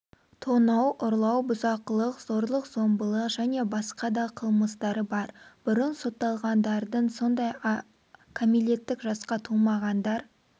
тонау ұрлау бұзақылық зорлық-зомбылық және басқа да қылмыстар бар бұрын сотталғандардың сондай-ақ кәмелеттік жасқа толмағандар